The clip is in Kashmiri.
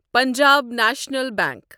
Punjab National bank